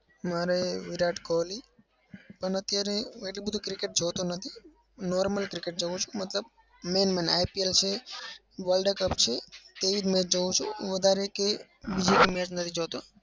મારે વિરાટ કોહલી. પણ અત્યારે એટલું બધું cricket જોતો નથી. normal cricket જોઉં છું મતલબ main mainIPL છે world cup છે. તેવી જ match જોઉં છું. વધારે કે બીજું કોઈ match નથી જોતો.